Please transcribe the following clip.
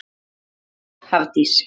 Þín dóttir Hafdís.